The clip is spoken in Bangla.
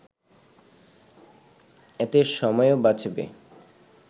এতে সময়ও বাঁচবে